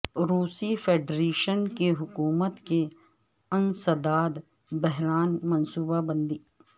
روسی فیڈریشن کی حکومت کے انسداد بحران منصوبہ بندی